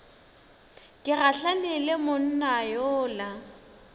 ke gahlane le monna yola